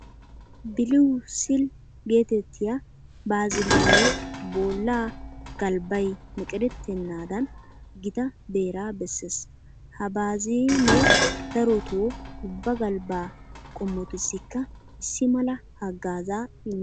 Biliwu siil geetettiya baaziliinee bollaa galbbay meqerettennaadan gita beeraa bessees. Ha baaziinee darotoo ubba galbbaa qommotussikka issi mala haggaazaa immees.